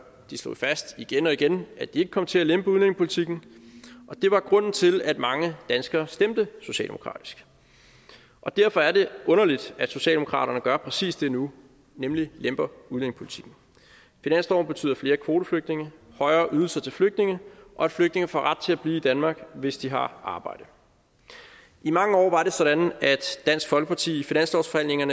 de slog fast igen og igen at de ikke kom til at lempe udlændingepolitikken og det var grunden til at mange danskere stemte socialdemokratisk derfor er det underligt at socialdemokraterne gør præcis det nu nemlig lemper udlændingepolitikken finansloven betyder flere kvoteflygtninge højere ydelser til flygtninge og at flygtninge får ret til at blive i danmark hvis de har arbejde i mange år var det sådan at dansk folkeparti